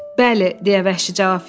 Bəli, deyə vəhşi cavab verdi.